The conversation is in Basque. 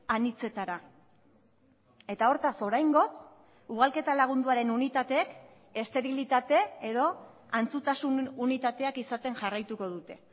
anitzetara eta hortaz oraingoz ugalketa lagunduaren unitateek esterilitate edo antzutasun unitateak izaten jarraituko dute